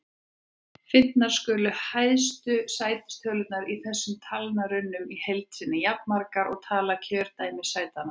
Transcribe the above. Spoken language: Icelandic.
Fundnar skulu hæstu sætistölurnar í þessum talnarunum í heild sinni, jafnmargar og tala kjördæmissætanna.